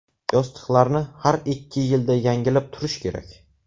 Yostiqlarni har ikki yilda yangilab turish kerak.